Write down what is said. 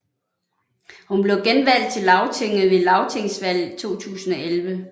Hun blev genvalgt til Lagtinget ved Lagtingsvalget 2011